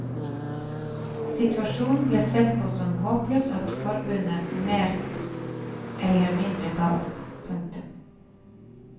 Situasjonen ble sett på som så håpløs at forbundet mer eller mindre gav opp. punktum